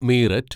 Meerut